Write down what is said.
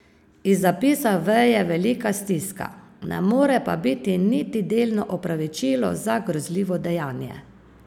Iz zapisa veje velika stiska, ne more pa biti niti delno opravičilo za grozljivo dejanje.